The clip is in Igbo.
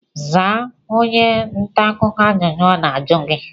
Zaa onye ntaakụkọ ajụjụ ọ na-ajụ gi!